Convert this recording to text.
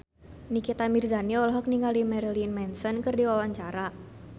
Nikita Mirzani olohok ningali Marilyn Manson keur diwawancara